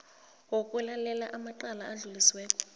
wokulalela amacala adlulisiweko